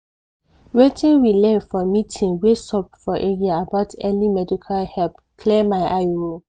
wetin we learn for meeting wey sup for area about early medical help clear my eye o.